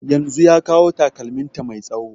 Yanzun ya kawo takalmin ta mai tsawo